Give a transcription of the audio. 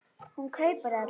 Hún kaupir þetta.